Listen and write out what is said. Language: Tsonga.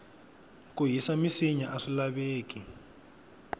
ku hisa minsinya aswi laveki